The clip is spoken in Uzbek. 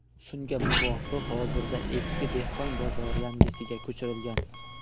Shunga muvofiq, hozirda eski dehqon bozori yangisiga ko‘chirilgan.